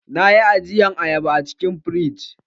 Na yi ajiyan ayaba a cikin firiji.